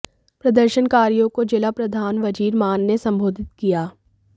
प्रदर्शनकारियों को जिला प्रधान वजीर मान ने सम्बोधित किया